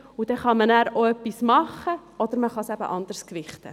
So kann man nachher auch etwas tun, oder man kann es anders gewichten.